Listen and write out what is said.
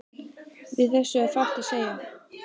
Við þessu er fátt að segja.